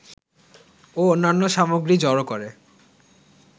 ও অন্যান্য সামগ্রী জড়ো করে